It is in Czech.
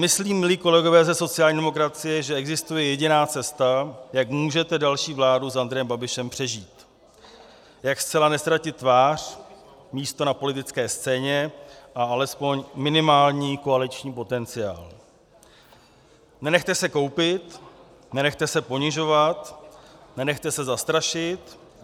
Myslím-li, kolegové ze sociální demokracie, že existuje jediná cesta, jak můžete další vládu s Andrejem Babišem přežít, jak zcela neztratit tvář, místo na politické scéně a alespoň minimální koaliční potenciál: nenechte se koupit, nenechte se ponižovat, nenechte se zastrašit.